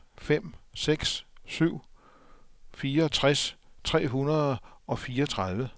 fem fem seks syv fireogtres tre hundrede og fireogtredive